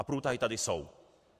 A průtahy tady jsou.